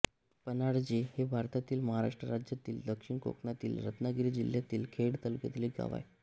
पन्हाळजे हे भारतातील महाराष्ट्र राज्यातील दक्षिण कोकणातील रत्नागिरी जिल्ह्यातील खेड तालुक्यातील एक गाव आहे